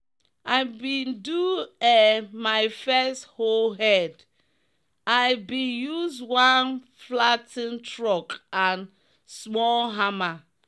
i been do um my first hoe head i been use one flat ten ed truck and small hammer